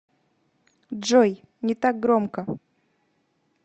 джой не так громко